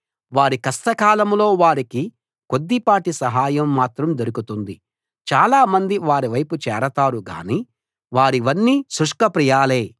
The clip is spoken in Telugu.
వారి కష్టకాలంలో వారికి కొద్దిపాటి సహాయం మాత్రం దొరుకుతుంది చాలా మంది వారి వైపు చేరతారు గానీ వారివన్నీ శుష్క ప్రియాలే